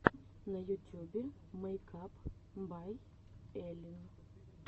на ютюбе мэйкап бай эллин